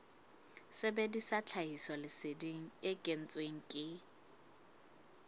sebedisa tlhahisoleseding e kentsweng ke